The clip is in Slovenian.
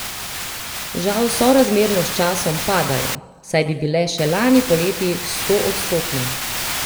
Žal sorazmerno s časom padajo, saj bi bile še lani poleti stoodstotne.